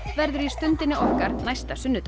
verður í Stundinni okkar næsta sunnudag